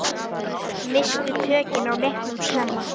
Misstu tökin á leiknum snemma.